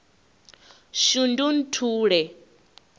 shundunthule